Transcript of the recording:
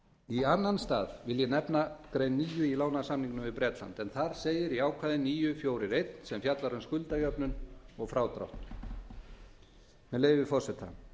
í annan stað vil ég nefna grein níu í lánasamningnum við bretlandi í ákvæði níu fjögur eina sem fjallar um skuldajöfnun og frádrátt segir með leyfi forseta